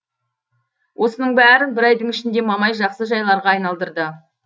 осының бәрін бір айдың ішінде мамай жақсы жайларға айналдырды